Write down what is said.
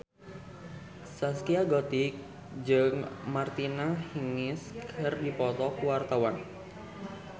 Zaskia Gotik jeung Martina Hingis keur dipoto ku wartawan